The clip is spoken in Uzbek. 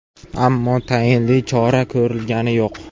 Ammo tayinli chora ko‘rilgani yo‘q.